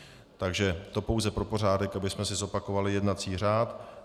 Takže to pouze pro pořádek, abychom si zopakovali jednací řád.